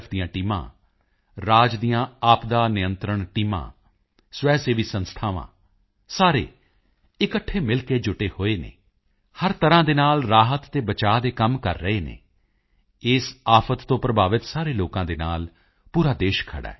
ਦੀਆਂ ਟੀਮਾਂ ਰਾਜ ਦੀਆਂ ਆਪਦਾ ਨਿਯੰਤਰਣ ਟੀਮਾ ਸਵੈਸੇਵੀ ਸੰਸਥਾਵਾਂ ਸਾਰੇ ਇਕੱਠੇ ਮਿਲ ਕੇ ਜੁਟੇ ਹੋਏ ਹਨ ਹਰ ਤਰ੍ਹਾਂ ਨਾਲ ਰਾਹਤ ਅਤੇ ਬਚਾਓ ਦੇ ਕੰਮ ਕਰ ਰਹੇ ਹਨ ਇਸ ਆਫ਼ਤ ਤੋਂ ਪ੍ਰਭਾਵਿਤ ਸਾਰੇ ਲੋਕਾਂ ਦੇ ਨਾਲ ਪੂਰਾ ਦੇਸ਼ ਖੜ੍ਹਾ ਹੈ